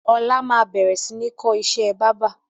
Ọlá máa bẹ̀rẹ̀ sini kọ́ ìṣẹ́ báábà